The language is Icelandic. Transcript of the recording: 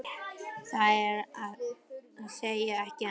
Það er að segja, ekki enn.